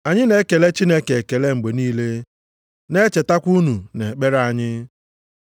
Anyị na-ekele Chineke ekele mgbe niile, na-echetakwa unu nʼekpere anyị.